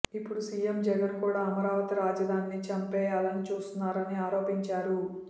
ఇప్పుడు సీఎం జగన్ కూడా అమరావతి రాజధానిని చంపేయాలని చూస్తున్నారని ఆరోపించారు